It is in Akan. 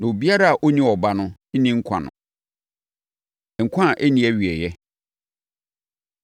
Obiara a ɔwɔ Ɔba no wɔ saa nkwa no, na obiara a ɔnni Ɔba no nni nkwa no. Nkwa A Ɛnni Awieeɛ